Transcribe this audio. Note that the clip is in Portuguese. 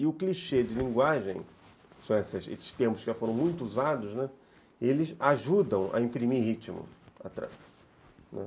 E o clichê de linguagem, esses termos que já foram muito usados, né, eles ajudam a imprimir ritmo atrás, né.